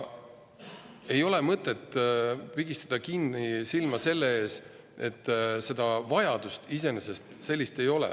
Ei ole mõtet silma kinni pigistada, et sellist vajadust iseenesest ei ole.